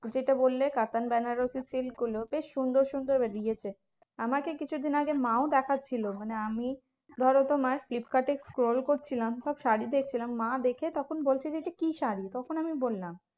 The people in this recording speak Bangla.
যেটা বললে কাতান বেনারসি silk গুলো বেশ সুন্দর সুন্দর বেরিয়েছে। আমাকে কিছুদিন আগে মাও দেখাচ্ছিল মানে আমি ধরো তোমার ফ্লিপকার্ডে scroll করছিলাম সব শাড়ী দেখছিলাম। মা দেখে তখন বলছে যে এটা কি শাড়ী? তখন এমনি বললাম